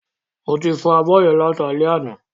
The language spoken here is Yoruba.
Mo ti fọ abọ́ yẹn láti alé àná